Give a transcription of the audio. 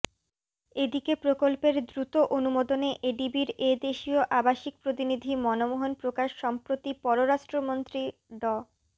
এদিকে প্রকল্পের দ্রুত অনুমোদনে এডিবির এ দেশীয় আবাসিক প্রতিনিধি মনমোহন প্রকাশ সম্প্রতি পররাষ্ট্রমন্ত্রী ড